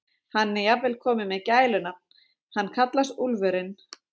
Hann er jafnvel kominn með gælunafn, hann kallast Úlfurinn.